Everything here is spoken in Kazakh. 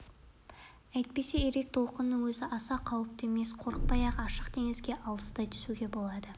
әйтпесе ирек толқынның өзі аса қауіпті емес қорықпай-ақ ашық теңізге алыстай түсуге болады